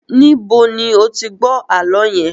Níbo ni ó ti gbọ́ àálọ́ yẹn?